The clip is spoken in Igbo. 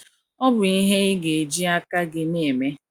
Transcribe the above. Ọ bụ ihe ị ga - eji aka gị na - eme.